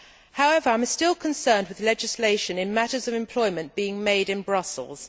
However, I am still concerned about legislation in matters of employment being made in Brussels.